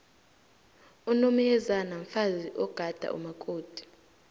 umomyezana mfazi ogada umakoti